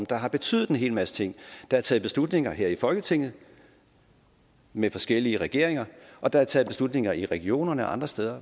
der har betydet en hel masse ting der er taget beslutninger her i folketinget med forskellige regeringer og der er taget beslutninger i regionerne og andre steder